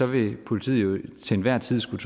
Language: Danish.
vil politiet jo til enhver tid skulle